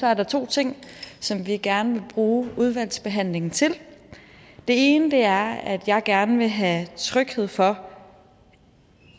er der to ting som vi gerne vil bruge udvalgsbehandlingen til det ene er at jeg gerne vil have tryghed for